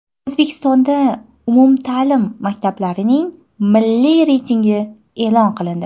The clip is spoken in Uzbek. O‘zbekistonda umumta’lim maktablarning milliy reytingi e’lon qilindi.